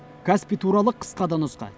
каспий туралы қысқа да нұсқа